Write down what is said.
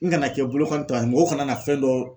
N kana kɛ bolokanita mɔgɔ kana na fɛn dɔ